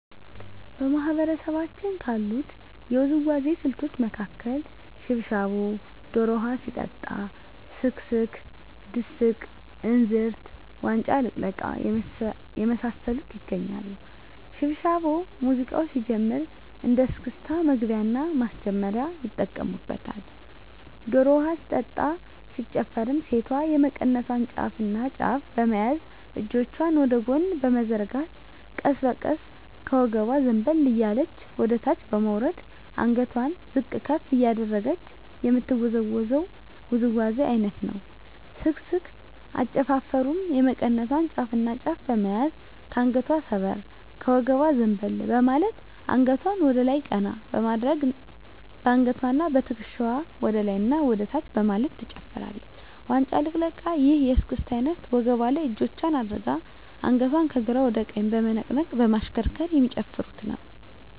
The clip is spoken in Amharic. በማህበረሰባችን ካሉት የውዝዋዜ ስልቶች መካከል ሽብሻቦ ዶሮ ውሀ ሲጠጣ ስክስክ ድስቅ እንዝርት ዋንጫ ልቅለቃ የመሳሰሉት ይገኛሉ። ሽብሻቦ ሙዚቃው ሲጀምር እንደ እስክስታ መግቢያና ማስጀመሪያ ይጠቀሙበታል። ዶሮ ውሀ ሲጠጣ ሲጨፈርም ሴቷ የመቀነቷን ጫፍና ጫፍ በመያዝ እጆቿን ወደ ጎን በመዘርጋት ቀስ በቀስ ከወገቧ ዘንበል እያለች ወደታች በመውረድ አንገቷን ዝቅ ከፍ እያደረገች የምትወዛወዘው ውዝዋዜ አይነት ነው። ስክስክ አጨፋፈሩም የመቀነቷን ጫፍና ጫፍ በመያዝ ከአንገቷ ሰበር ከወገቧ ዘንበል በማለት አንገቷን ወደላይ ቀና በማድረግ በአንገትዋና በትክሻዋ ወደላይና ወደታች በማለት ትጨፍራለች። ዋንጫ ልቅለቃ ይህ የእስክስታ አይነት ወገቧ ላይ እጆቿን አድርጋ አንገቷን ከግራ ወደ ቀኝ በመነቅነቅ በማሽከርከር የሚጨፍሩት ነው።